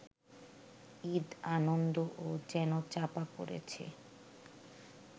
ঈদ আনন্দও যেন চাপা পড়েছে